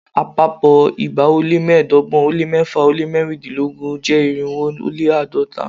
Àpapọ̀ igba ó lé mẹ́ẹ̀ẹ́dọ́gbọ̀n ó lé mẹ́fà ó lé mẹ́rìndínlọ́gbọ̀n jẹ́ irínwó ó lé àádọ́ta